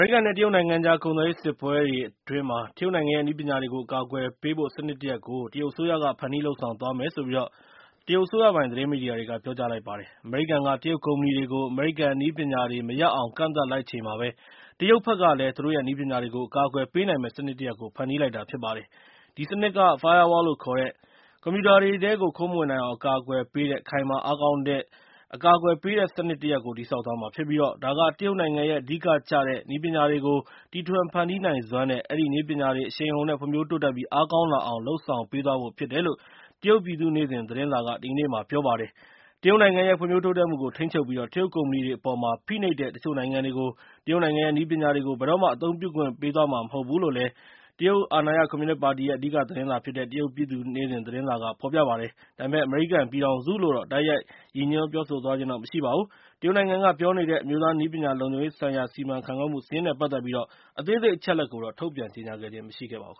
ရိကန် နဲ့ တရုတ်နိုင်ငံကြား ကုန်သွယ်ရေးစစ်ပွဲအတွင်း တရုတ်နိုင်ငံရဲ့ နည်းပညာတွေကို အကာအကွယ်ပေးဖို့ စနစ်တရပ်ကို တရုတ်အစိုးရကဖန်တီး လုပ်ဆောင်သွားမယ်လို့ တရုတ်အစိုးရပိုင်သတင်းမီဒီယာက ပြောကြားလိုက်ပါတယ်။ အမေရိကန်က တရုတ်ကုမ္ပဏီတွေကို အမေရိကန်နည်းပညာတွေမရအောင် ကန့်သတ်လိုက်ချိန်မှာပဲ တရုတ်ဘက်ကလည်း သူတို့ရဲ့ နည်းပညာတွေကို အကာအကွယ်ပေးနိုင်မယ့်စနစ်တရပ်ကို ဖန်တီးလိုက်တာဖြစ်ပါတယ်။ ဒီစနစ်က Firewall လို့ခေါ်တဲ့ ကွန်ပျူတာတွေထဲကို ခိုးမဝင်နိုင်အောင် အကာအကွယ်ပေးတဲ့ ခိုင်မာတဲ့စနစ်တရပ်ကို တည်ဆောက်သွားမှာဖြစ်ပြီး၊ ဒါက တရုတ်နိုင်ငံရဲ့ အဓိကကျတဲ့နည်းပညာတွေကို တီထွင်ဖန်တီးနိုင်စွမ်း နဲ့ အဲဒီနည်းပညာတွေအရှိန်အဟုန်နဲ့ ဖွံ့ဖြိုးတိုးတက်ပြီး အားကောင်းလာအောင် လုပ်ဆောင်ပေးသွားဖြစ်တယ်လို့ တရုတ်ပြည်သူ့နေ့စဉ် သတင်းစာက ဒီကနေ့မှာ ပြောလိုက်ပါတယ်။ တရုတ်နိုင်ငံရဲ့ ဖွံ့ဖြိုးတိုးတက်မှုကို ထိန်းချုပ်ပြီး၊ တရုတ်ကုမ္ပဏီတွေအပေါ်မှာ ဖိနှိပ်တဲ့ တချို့နိုင်ငံတွေကို တရုတ်နိုင်ငံရဲ့ နည်းပညာတွေကို ဘယ်တော့မှ အသုံးပြုခွင့်ပေးသွားမှာမဟုတ်ဘူးလို့ တရုတ်အာဏာရကွန်မြူနစ်ပါတီရဲ့ အဓိကသတင်းစာဖြစ်တဲ့ တရုတ်ပြည်သူ့နေ့စဉ်သတင်းစာက ဖော်ပြပါတယ်။ ဒါပေမဲ့ အမေရိကန်ပြည်ထောင်စုလို့တော့ တိုက်ရိုက်ရည်ညွှန်းပြောဆိုသွားခြင်းတော့ မရှိပါဘူး။ တရုတ်နိုင်ငံက ပြောနေတဲ့ အမျိုးသားနည်းပညာလုံခြုံရေးဆိုင်ရာစီမံခန့်ခွဲမှုစာရင်း နဲ့ ပတ်သက်ပြီးအသေးစိတ်အချက်အလက်ကိုတော့ ထုတ်ပြန်ခြင်းမရှိခဲ့ပါဘူး